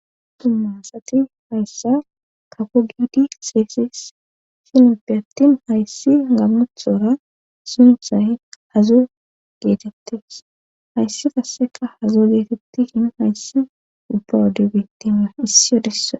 Dumma asati hayssa kafo giidi xeeyssees gidoppe attin hayssi gammoththora sunththay hazo geetettes hayssi qasseka hazo geetettishin hayssi ubba wode bettiya issi issi wode